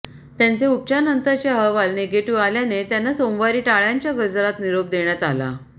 त्यांचे उपचारानंतरचे अहवाल निगेटिव्ह आल्याने त्यांना सोमवारी टाळ्यांच्या गजरात निरोप देण्यात आला